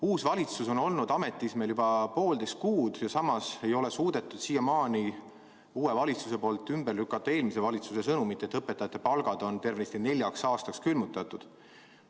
Uus valitsus on olnud ametis juba poolteist kuud, aga siiamaani ei ole suudetud ümber lükata eelmise valitsuse sõnumit, et õpetajate palgad on tervenisti neljaks aastaks külmutatud.